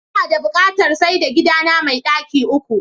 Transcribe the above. Inada buƙatar saida gidana me ɗaki uku.